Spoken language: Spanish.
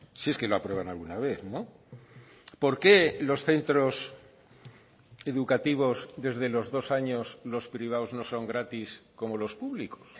si es que lo aprueban alguna vez por qué los centros educativos desde los dos años los privados no son gratis como los públicos